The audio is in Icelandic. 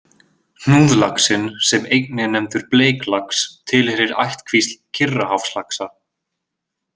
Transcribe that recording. Hnúðlaxinn, sem einnig er nefndur bleiklax, tilheyrir ættkvísl Kyrrahafslaxa.